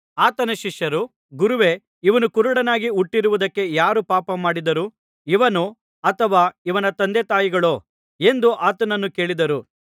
ಆತನ ಶಿಷ್ಯರು ಗುರುವೇ ಇವನು ಕುರುಡನಾಗಿ ಹುಟ್ಟಿರುವುದಕ್ಕೆ ಯಾರು ಪಾಪಮಾಡಿದರು ಇವನೋ ಅಥವಾ ಇವನ ತಂದೆತಾಯಿಗಳೋ ಎಂದು ಆತನನ್ನು ಕೇಳಿದರು